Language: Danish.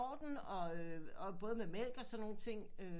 Orden og øh både med mælk og sådan nogle ting